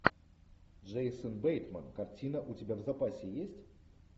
джейсон бейтман картина у тебя в запасе есть